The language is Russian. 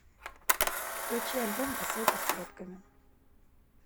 включи альбом посылка с плетками